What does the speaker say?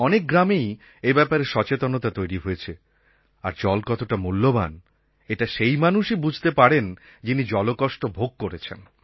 অনেক গ্রামেই এই ব্যাপারে সচেতনতা তৈরি হয়েছে আর জল কতটা মূল্যবান এটা সেই মানুষই বুঝতে পারেন যিনি জলকষ্ট ভোগ করেছেন